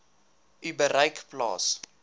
u bereik plaas